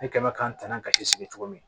Ne kɛ mɛ k'an tanga ka ci sigi cogo min